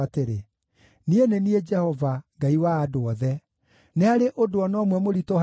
“Niĩ nĩ niĩ Jehova, Ngai wa andũ othe. Nĩ harĩ ũndũ o na ũmwe mũritũ harĩ niĩ?